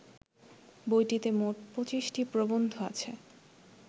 বইটিতে মোট ২৫টি প্রবন্ধ আছে